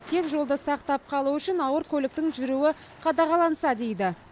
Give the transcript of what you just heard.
тек жолды сақтап қалу үшін ауыр көліктің жүруі қадағаланса дейді